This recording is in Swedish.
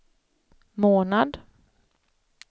månad